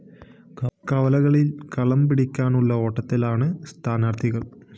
കവലകളില്‍ കളം പിടിക്കാനുള്ള ഓട്ടത്തിലാണ് സ്ഥാനാര്‍ത്ഥികള്‍